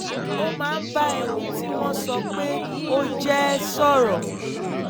ó máa ń bá ẹni tí wọ́n sọ pé ó jẹ́ sọ̀rọ̀